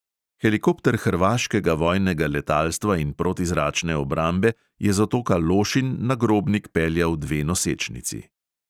Helikopter hrvaškega vojnega letalstva in protizračne obrambe je z otoka lošinj na grobnik peljal dve nosečnici.